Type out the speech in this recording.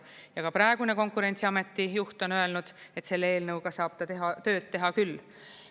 Ja ka praegune Konkurentsiameti juht on öelnud, et selle eelnõuga saab tööd teha küll.